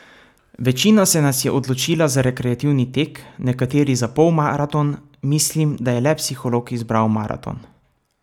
Večina se nas je odločila za rekreativni tek, nekateri za polmaraton, mislim, da je le psiholog izbral maraton.